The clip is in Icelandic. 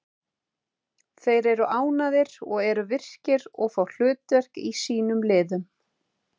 Þeir eru ánægðari og eru virkir og fá hlutverk í sínum liðum.